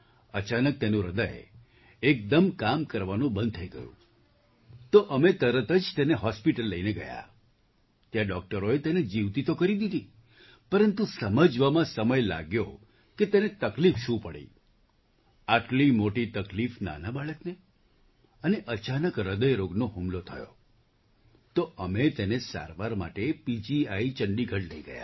અચાનક તેનું હૃદય એકદમ કામ કરવાનું બંધ થઈ ગયું તો અમે તરત જ તેને હૉસ્પિટલ લઈને ગયા ત્યાં ડૉક્ટરોએ તેને જીવતી તો કરી દીધી પરંતુ સમજવામાં સમય લાગ્યો કે તેને શું તકલીફ પડી આટલી મોટી તકલીફ નાના બાળકને અને અચાનક હૃદયરોગનો હુમલો થયો તો અમે તેને સારવાર માટે પીજીઆઈ ચંડીગઢ લઈ ગયા